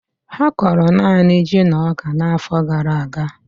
Ha kọrọ naanị ji na ọka n'afọ gara aga